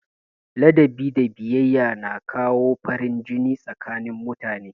Ladabi da biyayya ga manya na kawo farin jini tsakanin mutane.